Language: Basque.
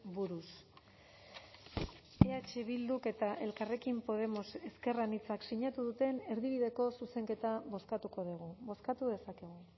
buruz eh bilduk eta elkarrekin podemos ezker anitzak sinatu duten erdibideko zuzenketa bozkatuko dugu bozkatu dezakegu